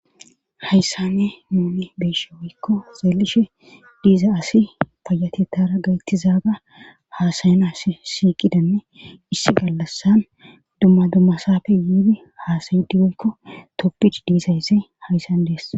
hayssanne nuuni beeshe wiikko xeelishe diiza asi fayate tara gaytizaaga haasayan asi siiqidanne issi gallassan dumma dummasaafe yuudi haasayidi weykko toppid diisaysse hayssan dees